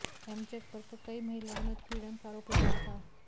MJ Akbar पर कई महिलाओं ने उत्पीड़न का आरोप लगाया था